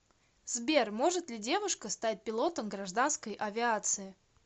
сбер может ли девушка стать пилотом гражданской авиации